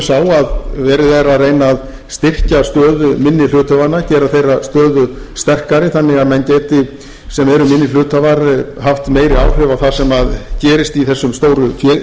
sá að verið er að reyna að styrkja stöðu minni hluthafanna gera þeirra stöðu sterkari þannig að menn geti sem eru minni hluthafar haft meiri áhrif á það sem gerist í þessum stóru félögum og minni félögum svo sem einnig